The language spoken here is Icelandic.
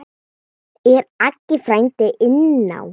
Er Aggi frændi inná?